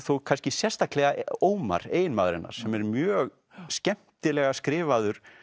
kannski sérstaklega Ómar eiginmaður hennar sem er mjög skemmtilega skrifaður